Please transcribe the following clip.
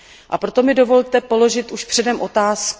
A proto mi dovolte položit už předem otázku.